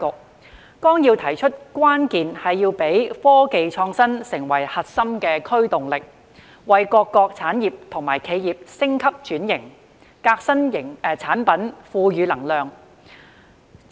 《十四五規劃綱要》提出，關鍵是要讓科技創新成為核心驅動力，為各個產業或企業升級轉型、革新產品賦予能量。